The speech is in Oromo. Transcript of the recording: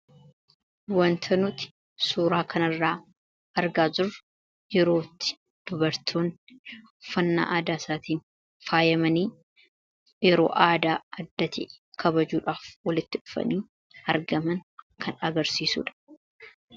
wanta nuti suuraa kanarraa argaa jirru yerootti dubartoonni uffannaa aadaa isaatiin faayamanii yeroo aadaaa isaanii kabajuudhaaf walitti dhufanii argaman kan agarsiisuudha.